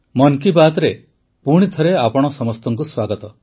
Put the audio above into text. ମନ୍ କି ବାତ୍ରେ ପୁଣିଥରେ ଆପଣ ସଭିଙ୍କୁ ସ୍ୱାଗତ